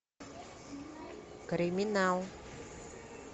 криминал